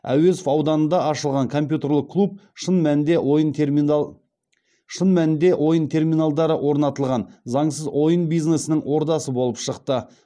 әуезов ауданында ашылған компьютерлік клуб шын мәнінде ойын терминалдары орнатылған заңсыз ойын бизнесінің ордасы болып шықты